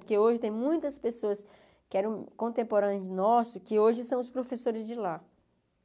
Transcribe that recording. Porque hoje tem muitas pessoas que eram contemporâneas nossos, que hoje são os professores de lá,